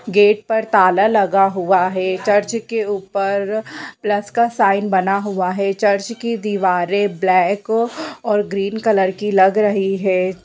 Gate पर ताला लगा हुआ है चर्च के ऊपर प्लस के साइन बना हुआ है चर्च की दीवारें ब्लैक और ग्रीन कलर की लग रही है।